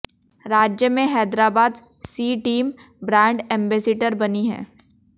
राज्य में Hyderabad she team brand ambassador बनी है